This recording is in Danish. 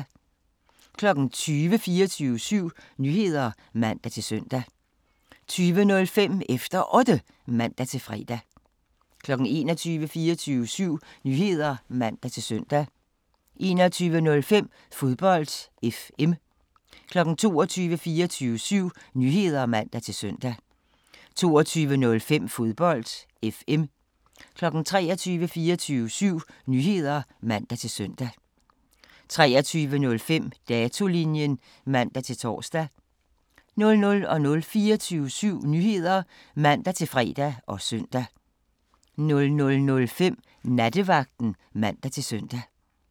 20:00: 24syv Nyheder (man-søn) 20:05: Efter Otte (man-fre) 21:00: 24syv Nyheder (man-søn) 21:05: Fodbold FM 22:00: 24syv Nyheder (man-søn) 22:05: Fodbold FM 23:00: 24syv Nyheder (man-søn) 23:05: Datolinjen (man-tor) 00:00: 24syv Nyheder (man-fre og søn) 00:05: Nattevagten (man-søn)